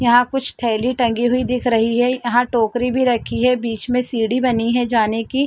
यहाँ कुछ थैली टंगी हुई दिख रही है यहाँ टोकरी भी रखी है बीच में सीढ़ी बनी है जाने की --